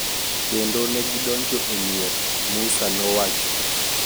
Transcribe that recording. Kendo ne gidonjo e mier," Moussa nowacho